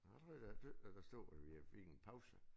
Nåh jeg tror da at der stod at vi fik en pause